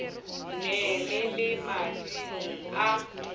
ne le le mading a